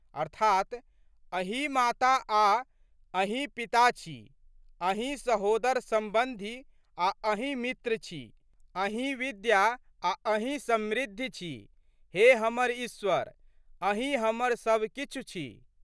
अर्थात्, अहीं माता और अहीं पिता छी, अहीं सहोदरसंबंधी आ अहीं मित्र छी, अहीं विद्या आ अहीं समृद्धि छी, हे हमर ईश्वर अहीं हमर सब किछु छी।